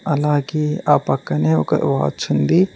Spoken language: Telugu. అలాగే ఆ పక్కనే ఒక వాచ్ ఉంది.